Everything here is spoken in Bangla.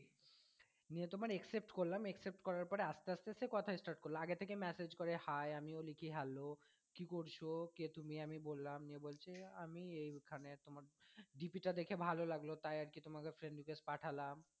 নিয়ে তোমার accept করলাম accept করার পর আস্তে আস্তে সে কথা start করলো, আগের থেকেই message করে hi আমিও লিখি কি hello কি করছো, কে তুমি? আমি বললাম নিয়ে বলছে আমি এইখানে তোমার dp টা দেখে ভালো লাগলো তাই আর কি তোমাকে friend request পাঠালাম।